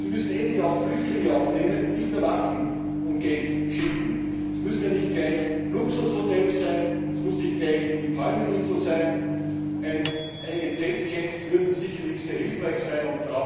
müssen endlich auch Flüchtlinge aufnehmen und nicht nur Waffen und Geld schicken. Es müssen ja nicht gleich Luxushotels sein, es muss nicht gleich die Palmeninsel sein, einige Zeltcamps würden sicherlich sehr hilfreich sein.